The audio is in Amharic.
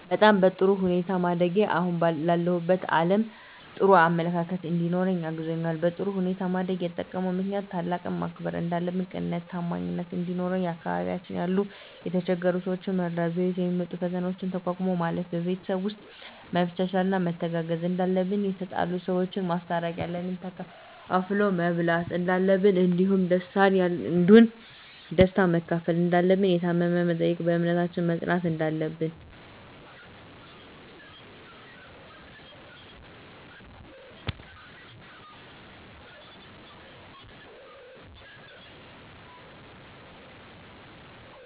በጣም በጥሩ ሁኔታ ማደጌ አሁን ላለሁበት አለም ጥሩ አመለካከት እንዲኖረኝ አግዞኛል በጥሩ ሁኔታ ማደግ የጠቅማል ምክንያቱም ታላቅን ማክበር እንዳለብን ቅንነትና ታማኝነት እንዲኖረን በአካባቢያችን ያሉ የተቸገሩ ሰዎችን መርዳት በህይወታችን የሚመጡ ፈተናዎችን ተቋቁሞ ማለፍ ን በቤተሰብ ውስጥ መቻቻልና መተጋገዝ እንዳለብን የተጣሉ ሰዎችን ማስታረቅ ያለንን ተካፍሎ መብላት እንዳለብን እንዲሁም ደስታን ያንዱን ደስታ መካፈል እንዳለብን የታመመ መጠየቅን በእምነታችን መፅናት እንዳለብን